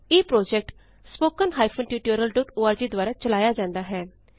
ਇਹ project httpspoken tutorialorg ਦੁਆਰਾ ਚਲਾਇਆ ਜਾੰਦਾ ਹੈ